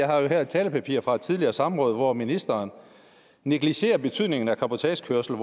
har et talepapir fra et tidligere samråd hvor ministeren negligerer betydningen af cabotagekørsel